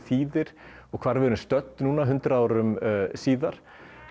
þýðir og hvar við erum stödd hundrað árum síðar